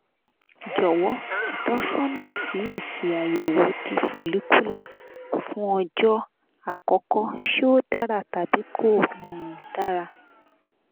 jowo itosona si esi ayewo ti follicular fun ojo akoko se o dara tabi ko um dara